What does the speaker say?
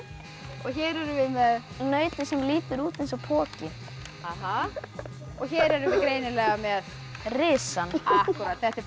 og hér erum við með nautið sem lítur út eins og poki og hér erum við greinileg með risann þetta er